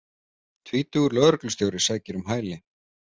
Tvítugur lögreglustjóri sækir um hæli